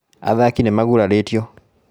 Athaki nĩ magurarĩtio